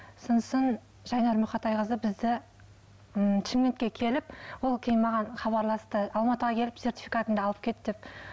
сосын жайнар мұқатайқызы бізді м шымкентке келіп ол кейін маған хабарласты алматыға келіп сертификатыңды алып кет деп